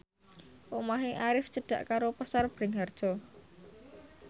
omahe Arif cedhak karo Pasar Bringharjo